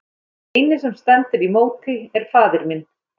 Og sá eini sem stendur í móti er faðir minn!